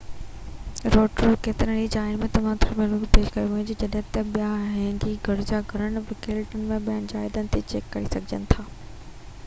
روٽورو ۾ ڪيترن ئي جاين تي جيو ٿرمل هنگي پيش ڪيو وڃي ٿو جڏهن ته ٻيا هينگي گرجا گهر ويلنگٽن ۽ ٻين جاين تي چيڪ ڪري سگهجن ٿا